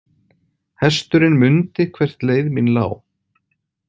Hesturinn mundi hvert leið mín lá.